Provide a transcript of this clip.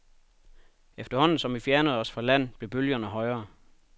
Efterhånden som vi fjernede os fra land blev bølgerne højere.